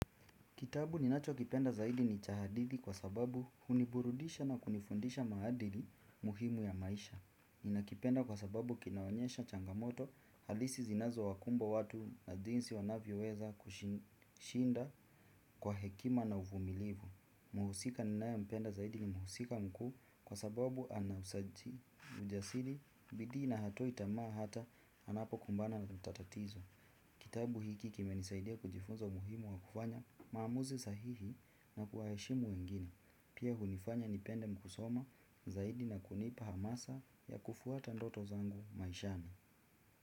Kitabu ninacho kipenda zaidi ni cha hadithi kwa sababu huniburudisha na kunifunza maadili muhimu ya maisha. Ninakipenda kwa sababu kinaonyesha changamoto halisi zinazo wakumba watu na jinsi wanavyo weza kushinda kwa hekima na uvumilivu. Muhusika ninaye mpenda zaidi ni muhusika mkuu kwa sababu ana ujasiri, bidii na hatoi tamaa hata anapo kumbana na tatizo. Kitabu hiki kimenisaidia kujifunza umuhimu wa kufanya maamuzi sahihi na kuwa heshimu wengine. Pia hunifanya nipende kusoma zaidi na kunipa hamasa ya kufwata ndoto zangu maishani.